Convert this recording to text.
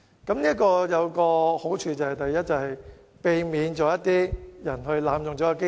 這做法是有好處的，第一，避免有人濫用機制。